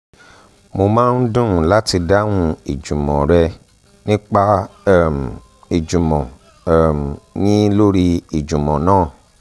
mo máa ń dùn láti dáhùn ìjùmọ̀n rẹ̀ nípa um ìjùmọ̀ um yín lórí ìjùmọ̀ náà